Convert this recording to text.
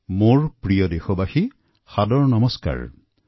মোৰ শ্ৰদ্ধাৰ দেশবাসী আপোনালোক সকলোকে সাদৰ নমষ্কাৰ জনাইছোঁ